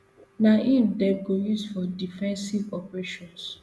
na im dem go use for defensive operations